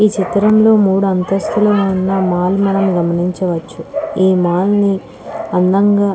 ఈ చిత్రం లో మూడు అంతస్తులు ఉన్న మాల్ మనం గమనించవచ్చు ఈ మాల్ ని అందంగ --